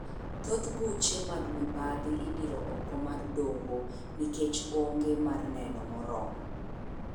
Thoth buche mag mibadhi idiro oko mar doho nikech ong'e mar neno morormo.